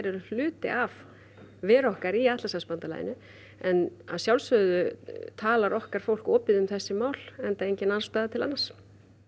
eru hluti af veru okkar í Atlantshafsbandalaginu en að sjálfsögðu talar okkar fólk opið um þessi mál enda engin ástæða til annars